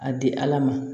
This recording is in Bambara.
A di ala ma